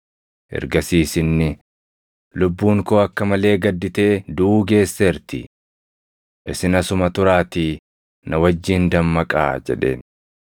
Ergasiis inni, “Lubbuun koo akka malee gadditee duʼuu geesseerti. Isin asuma turaatii na wajjin dammaqaa” jedheen.